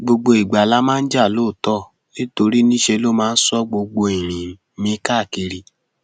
gbogbo ìgbà la máa ń jà lóòótọ nítorí níṣe ló máa ń sọ gbogbo ìrìn mi káàkiri